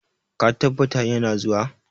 Ka tabbata ya na zuwa?